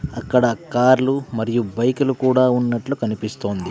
అక్కడ కార్లు మరియు బైకులు కూడా ఉన్నట్లు కనిపిస్తోంది.